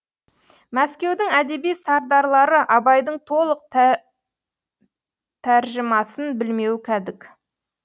мәскеудің әдеби сардарлары абайдың толық тәржімасын білмеуі кәдік